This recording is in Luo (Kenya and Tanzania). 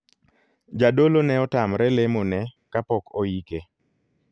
Jadolo ne otamre lemo ne kapok oike.